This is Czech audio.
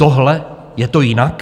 Tohle je to jinak?